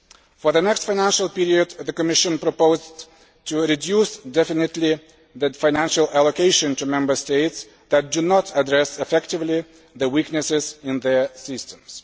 For the next financial period, the Commission has proposed the definite reduction of the financial allocation to Member States that do not address effectively the weaknesses in their systems.